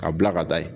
Ka bila ka taa ye